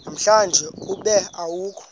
namhlanje ube awukho